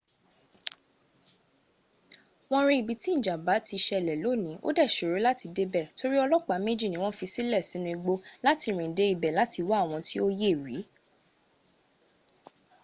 won ri ibi tí ìjàmbá ti ṣẹlẹ̀ lóní ò dẹ́ ṣòró láti débẹ̀ torí olopa méjì ní wọ́n fisílẹ̀ sínu igbó láti rìn dé ibẹ̀ láti wá àwọn tí ó yẹ̀ rí